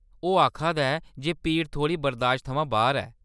ओह् आखा दा ऐ जे पीड़ थोह्‌ड़ी बरदाश्त थमां बाह्‌र ऐ।